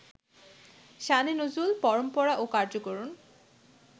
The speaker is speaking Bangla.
শানে নজুল, পরম্পরা ও কার্যকারণ